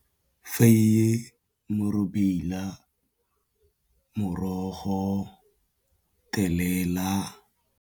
Faeye, morobila, morogo, thelela.